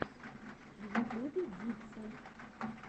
в ютубе диксон